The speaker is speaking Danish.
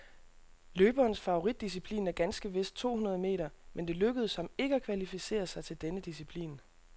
Løberens favoritdisciplin er ganske vist to hundrede meter, men det lykkedes ham ikke at kvalificere sig til denne disciplin.